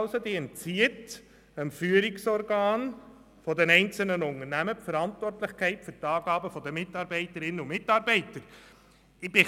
Dadurch wird dem Führungsorgan die Verantwortlichkeit für die Angaben der einzelnen Mitarbeiter entzogen.